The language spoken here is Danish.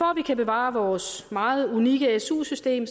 kan bevare vores meget unikke su system